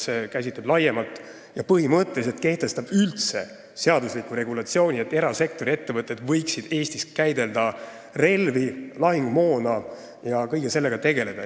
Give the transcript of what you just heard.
See kehtestab põhimõtteliselt seadusliku regulatsiooni, et erasektori ettevõtted võiksid üldse Eestis käidelda relvi ja lahingumoona, kõige sellega tegeleda.